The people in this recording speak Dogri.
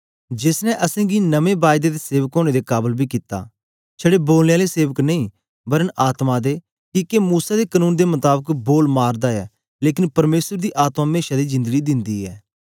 जेस ने असेंगी नमें बायदे दे सेवक ओनें दे काबल बी कित्ता छड़े बोलने आले सेवक नेई वरन आत्मा दे किके मूसा दे कनून दे मताबक बोल मारदा ऐ लेकन परमेसर दी आत्मा मेशा दी जिन्दडी दिन्दी ऐ